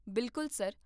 ਬਿਲਕੁਲ ਸਰ